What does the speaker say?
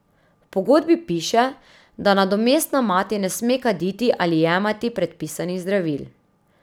V pogodbi piše, da nadomestna mati ne sme kaditi ali jemati predpisanih zdravil.